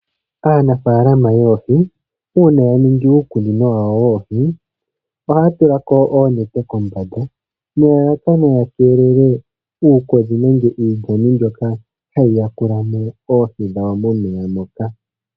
Aanafaalama yoohi, uuna ya ningi uukunino wawo woohi, ohaa tula ko oonete kombanda, nelalakano ya keelele uukodhi nenge iilyani mbyoka ha yi yakula mo oohi dhawo momeya moka.